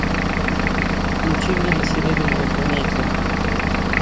включи мне на серебряной планете